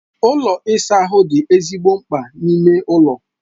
Ụlọ ịsa ahụ dị ezigbo mkpa n'ime ụlọ.